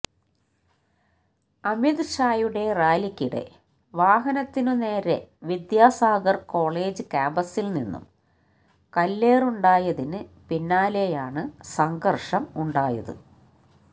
അമിത് ഷായുടെ റാലിക്കിടെ വാഹനത്തിന് നേരെ വിദ്യാസാഗർ കോളേജ് ക്യാമ്പസിൽ നിന്നും കല്ലേറുണ്ടായതിന് പിന്നാലെയാണ് സംഘർഷം ഉണ്ടായത്